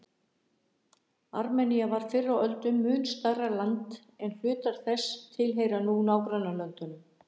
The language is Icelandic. Armenía var fyrr á öldum mun stærra land en hlutar þess tilheyra nú nágrannalöndunum.